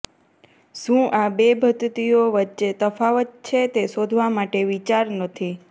શું આ બે પદ્ધતિઓ વચ્ચે તફાવત છે તે શોધવા માટે વિચાર નથી